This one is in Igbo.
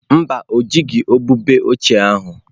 Mba, o jighị ubube ochie ahụ.